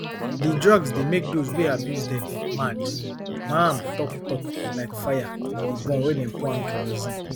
di drugs dey make those wey abuse dem mad maham tok tok like fire dey burn wen dem pour am kerosene